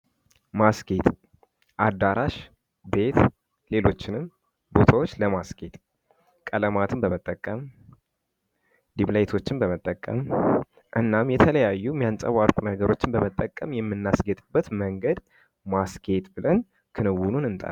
ማስግጌጥ አዳራሽ ቤት ሌሎችንም ቦታዎች ለማስጌጥ ቀለማትን በመጠቀም ቤም ላይቶችን በመተቀም እናም የተለያዩ የሚያንጸባርቁ ነገሮችን በመጠቀም የምናስጌጥበት መንገድ ማስጌጥ ብለን ክንውኑን እንጠራለን።